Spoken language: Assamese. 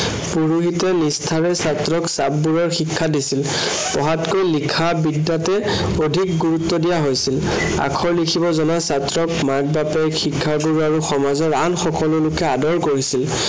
পুৰোহিতে নিষ্ঠাৰে ছাত্ৰক চাপ বহোৱাৰ শিক্ষা দিছিল। পঢ়াতকৈ এই লিখা বিদ্য়াতে অধিক গুৰুত্ব দিয়া হৈছিল। আখৰ লিখিব জনা ছাত্ৰক মাক -বাপেক শিক্ষা গুৰু আৰু সমাজৰ আন সকলো লোকে আদৰ কৰিছিল।